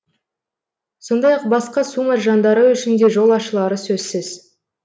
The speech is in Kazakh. сондай ақ басқа су маржандары үшін де жол ашылары сөзсіз